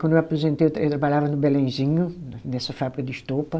Quando eu aposentei, eu tra, eu trabalhava no Belenzinho, nessa fábrica de estopa.